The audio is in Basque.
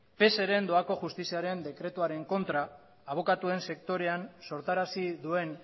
pseren doako justiziaren dekretuaren kontra abokatuen sektorean sortarazi duen